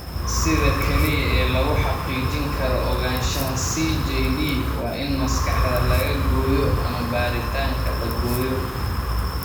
Sida kaliya ee lagu xaqiijin karo ogaanshaha CJD waa in maskaxda laga gooyo ama baaritaanka la gooyo.